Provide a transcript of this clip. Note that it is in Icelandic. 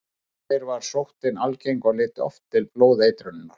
Áður fyrr var sóttin algeng og leiddi oft til blóðeitrunar.